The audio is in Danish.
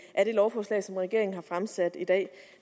af det lovforslag som regeringen har fremsat i dag